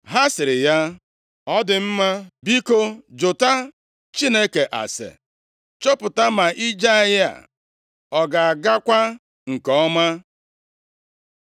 Ha sịrị ya, “Ọ dị mma! Biko, jụta Chineke ase, chọpụta ma ije anyị a ọ ga-agakwa nke ọma.”